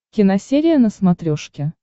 киносерия на смотрешке